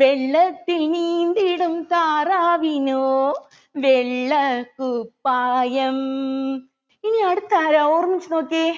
വെള്ളത്തിൽ നീന്തിടും താറാവിനോ വെള്ളക്കുപ്പായം ഇനി അടുത്ത ആരാ ഓർമ്മിച്ചു നോക്കിയേ